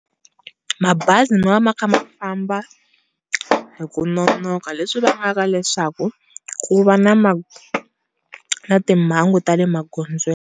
Mabazi ma va ma kha ma famba hi ku nonoka leswi vangaka leswaku ku va na ma, timhangu ta le maghondzweni.